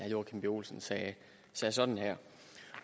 joachim b olsen sagde sådan her